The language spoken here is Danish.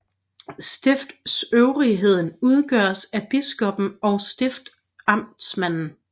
Stiftsøvrigheden udgøres af biskoppen og stiftamtmanden